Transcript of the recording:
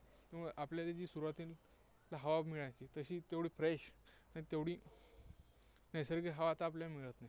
त्यामुळे आपल्याला सुरुवातीला हवा मिळायची, तशी तेवढी fresh आणि तेवढी नैसर्गिक हवा आपल्याला मिळत नाही.